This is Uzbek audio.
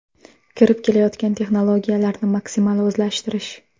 Kirib kelayotgan texnologiyalarni maksimal o‘zlashtirish.